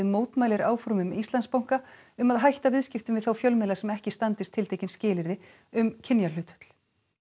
mótmælir áformum Íslandsbanka um að hætta viðskiptum við þá fjölmiðla sem ekki standist tiltekin skilyrði um kynjahlutföll